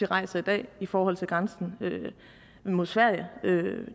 rejser i dag i forhold til grænsen mod sverige